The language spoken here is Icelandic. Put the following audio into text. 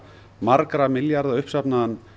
margra milljarða uppsafnaðan